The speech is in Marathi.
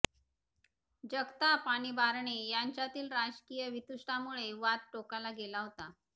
जगताप आणि बारणे यांच्यातील राजकीय वितुष्टामुळे वाद टोकाला गेला होता